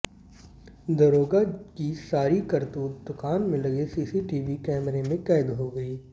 दरोगा की सारी करतूत दूकान में लगे सीसीटीवी कैमरे में कैद हो गई